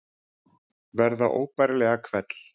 Verða óbærilega hvell.